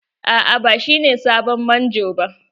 Aa ba shine sabon manjo ba.